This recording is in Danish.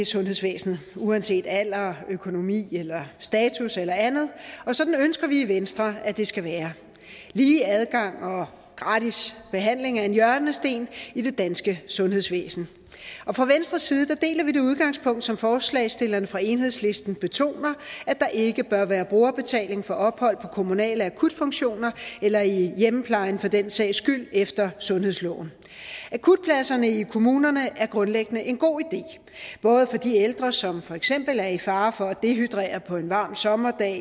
sundhedsvæsenet uanset alder økonomi status eller andet og sådan ønsker vi i venstre det skal være lige adgang og gratis behandling er en hjørnesten i det danske sundhedsvæsen og fra venstres side deler vi det udgangspunkt som forslagsstillerne fra enhedslisten betoner at der ikke bør være brugerbetaling for ophold på kommunale akutfunktioner eller i hjemmeplejen for den sags skyld efter sundhedsloven akutpladserne i kommunerne er grundlæggende en god idé både for de ældre som for eksempel er i fare for at dehydrere på en varm sommerdag